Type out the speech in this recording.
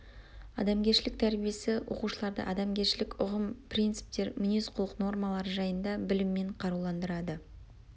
адамгершілік тәрбиесі оқушыларды адамгершілік ұғым принциптер мінез құлық нормалары жайында біліммен қаруландырады